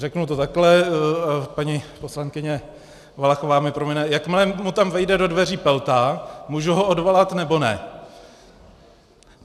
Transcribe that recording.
Řeknu to takhle, paní poslankyně Valachová mi promine: Jakmile mu tam vejde do dveří Pelta, můžu ho odvolat, nebo ne?